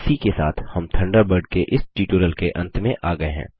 इसी के साथ हम थंडरबर्ड के इस ट्यूटोरियल के अंत में आ गये हैं